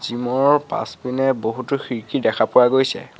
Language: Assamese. জিম ৰ পাছপিনে বহুতো খিৰিকী দেখা পোৱা গৈছে।